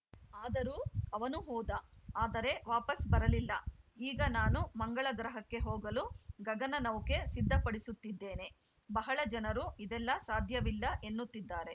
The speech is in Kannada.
ಆದರೂ ಅವನು ಹೋದ ಆದರೆ ವಾಪಸ್‌ ಬರಲಿಲ್ಲ ಈಗ ನಾನು ಮಂಗಳ ಗ್ರಹಕ್ಕೆ ಹೋಗಲು ಗಗನನೌಕೆ ಸಿದ್ಧಪಡಿಸುತ್ತಿದ್ದೇನೆ ಬಹಳ ಜನರು ಇದೆಲ್ಲ ಸಾಧ್ಯವಿಲ್ಲ ಎನ್ನುತ್ತಿದ್ದಾರೆ